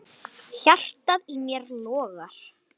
Hjartað í mér logar.